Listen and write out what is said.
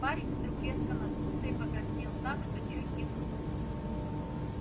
парень вдруг резко надулся и покраснел так что чуть не лопнул